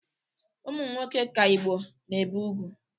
Ụmụnwoke ka Igbo na-ebe ugwu.